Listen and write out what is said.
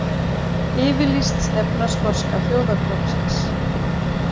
Yfirlýst stefna Skoska þjóðarflokksins.